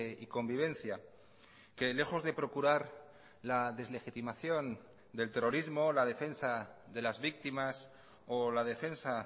y convivencia que lejos de procurar la deslegitimación del terrorismo la defensa de las víctimas o la defensa